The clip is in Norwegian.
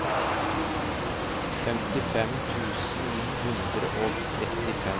femtifem tusen ni hundre og trettifem